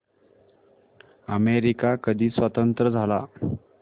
America कधी स्वतंत्र झाला